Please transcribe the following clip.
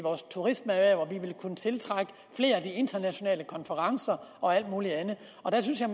turismeerhvervet man vil kunne tiltrække flere af de internationale konferencer og alt muligt andet og der synes jeg